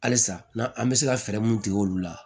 Halisa n'an an bɛ se ka fɛɛrɛ mun tigɛ olu la